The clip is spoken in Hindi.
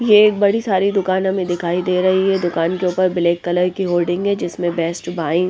ये एक बड़ी सारी दुकान हमें दिखाई दे रही हैं दुकान के ऊपर ब्लैक कलर की होल्डिंग हैं जिसमें बेस्ट बाय-- -